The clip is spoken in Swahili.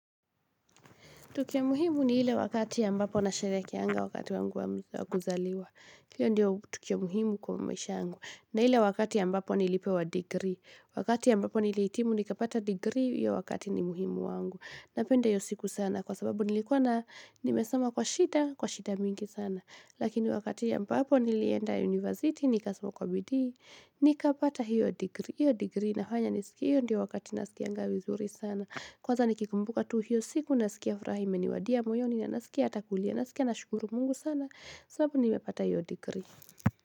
Tukia muhimu ni hile wakati ya mbapo na sherekia anga wakati wangu wa kuzaliwa. Hile ndio tukia muhimu kwa maisha angu. Na hile wakati ya ambapo nilipewa degree. Wakati ya mbapo niliitimu ni kapata degree ya wakati ni muhimu wangu. Na pende hiyo siku sana kwa sababu nilikuwa na nimesama kwa shida, kwa shida mingi sana. Lakini wakati ambapo nilienda university ni kasama kwa bidii. Ni kapata hiyo degree na inanya ni siki hiyo ndio wakati na sikianga wizuri sana. Kwa za ni kikumbuka tu hiyo siku nasikia furaha imeniwadia moyo ni na nasikia atakulia nasikia na shukuru mungu sana sababu ni mepata hiyo degree.